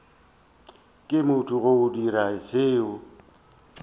ke motho go dira seo